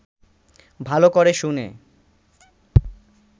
ভালো করে শুনে